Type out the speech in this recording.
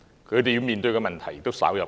他們要面對的問題，亦稍有不同。